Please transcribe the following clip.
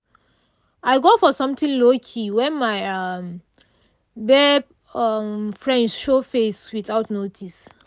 i go for something low-key when my um babe um friends show face without notice.